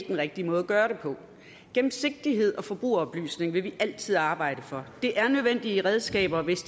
den rigtige måde at gøre det på gennemsigtighed og forbrugeroplysning vil vi altid arbejde for det er nødvendige redskaber hvis